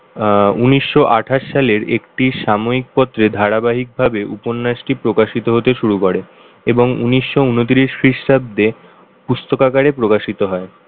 আহ উনিশশো আঠাশ সালের একটি সাময়িক পত্রের ধারাবাহিকভাবে উপন্যাসটি প্রকাশিত হতে শুরু করে এবং উনিশশো ঊনত্রিশ খ্রীষ্টাব্দে।